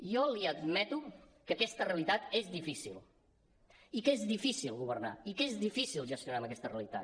jo li admeto que aquesta realitat és difícil i que és difícil governar i que és difícil gestionar amb aquesta realitat